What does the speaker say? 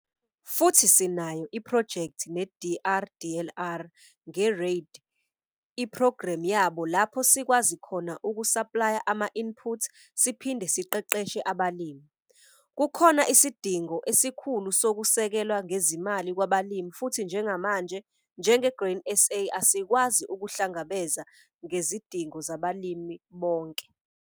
Futhi sinayo iphrojekthi ne-DRDLR nge-REID iphrogremu yabo lapho sikwazi khona ukusaplaya ama-input siphinde siqeqeshe abalimi. Kukhona isidingo esikhulu sokusekelwa ngezimali kwabalimi futhi njengamanje njenge-Grain SA asikwazi ukuhlangabeza ngezidingo zabalimi bonke.